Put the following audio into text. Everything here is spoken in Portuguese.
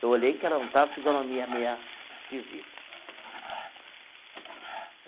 Eu olhei que ela estava com a fisionomia meia esquisita.